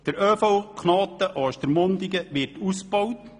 Der ÖV-Knoten Ostermundigen wird ausgebaut.